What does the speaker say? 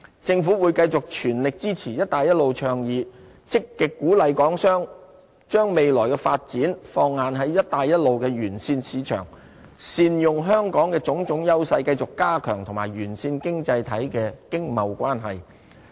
政府會繼續全力支持"一帶一路"倡議，積極鼓勵港商把未來發展放眼在"一帶一路"的沿線市場，善用香港的種種優勢，繼續加強與沿線經濟體的經貿關係。